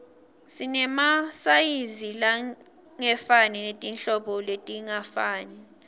sinemasayizi langefani netinhlobo letingafani